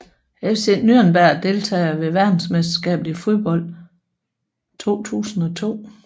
FC Nürnberg Deltagere ved verdensmesterskabet i fodbold 2002